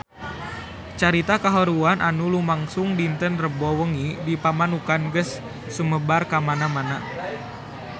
Carita kahuruan anu lumangsung dinten Rebo wengi di Pamanukan geus sumebar kamana-mana